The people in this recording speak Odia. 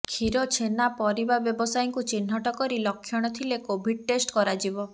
କ୍ଷୀର ଛେନା ପରିବା ବ୍ୟବସାୟୀଙ୍କୁ ଚିହ୍ନଟ କରି ଲକ୍ଷଣ ଥିଲେ କୋଭିଡ୍ ଟେଷ୍ଟ କରାଯିବ